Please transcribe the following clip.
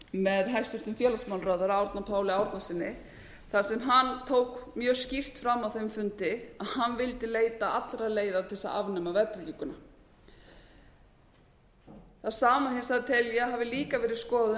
með hæstvirtum félagsmálaráðherra árna páli árnasyni þar sem hann tók mjög skýrt fram á þeim fundi að hann vildi leita allra leiða til þess að afnema verðtrygginguna það sama hins vegar tel ég að hafi líka verið skoðað af